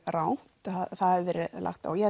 rangt að það hafi verið lagt á og ég